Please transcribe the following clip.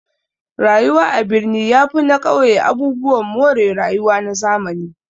Rayuwa a birni yafi na ƙauye abubuwan more rayuwa na zamani